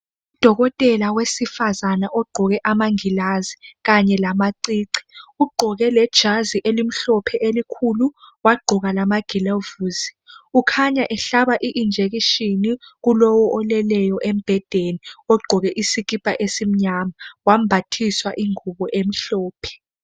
udokotela wesifazana ogqoke amangilazi kanye lamacici ugqoke lejazi elimhlophe elikhulu wagqoka lama gilavusi ukhanya ehlaba i injection kulowo oleleyo embhedeni ogqoke isikipa esimnyama wambathiswa ingubo emhlophe